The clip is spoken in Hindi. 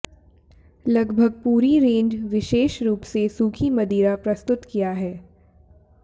लगभग पूरी रेंज विशेष रूप से सूखी मदिरा प्रस्तुत किया है